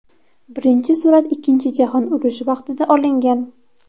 Birinchi surat ikkinchi jahon urushi vaqtida olingan.